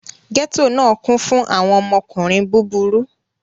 Gẹto náà kún fún àwọn ọmọkùnrin búburú.